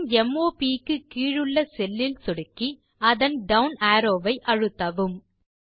heading m o ப் க்கு கீழுள்ள செல் இல் சொடுக்கி அதன் டவுன் அரோவ் வை அழுத்தவும்